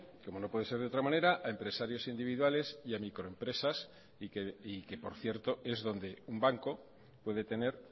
como no puede ser de otra manera a empresarios individuales y a microempresas y que por cierto es donde un banco puede tener